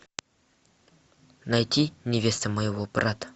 найти невеста моего брата